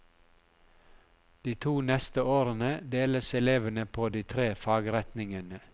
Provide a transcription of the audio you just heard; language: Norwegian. De to neste årene deles elevene på de tre fagretningene.